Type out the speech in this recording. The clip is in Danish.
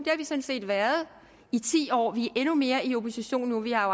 har vi sådan set været i ti år men vi er endnu mere i opposition nu vi har